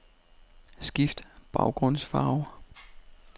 Skift baggrundsfarve.